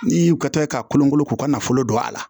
N'i y'u ka taɛ k'a kolon kolon k'u ka nafolo don a la